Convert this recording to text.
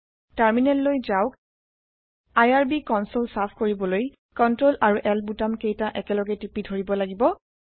টাৰ্মিনেললৈ যাওঁক IRB console চাফ কৰিবলৈ চিআৰটিএল আৰু L বুটাম কেইতা একেলগে টিপি ধৰিব লাগিব